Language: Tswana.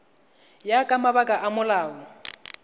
ya ka mabaka a molao